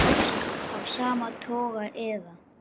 Ást af sama toga eða